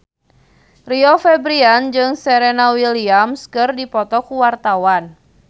Rio Febrian jeung Serena Williams keur dipoto ku wartawan